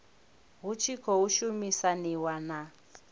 hu tshi khou shumisaniwa na